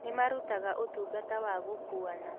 Nĩmarũtaga ũtũngata wa gũkũana